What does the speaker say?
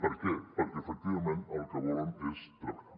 per què perquè efectivament el que volen és treballar